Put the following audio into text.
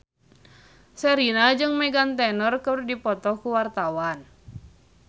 Sherina jeung Meghan Trainor keur dipoto ku wartawan